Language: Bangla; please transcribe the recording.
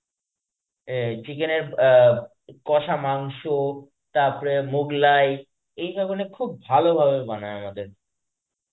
এ chicken এর আ কষা মাংস তারপরে মোগলাই, এইধরনের খুব ভালোভাবে বানায় আমাদের.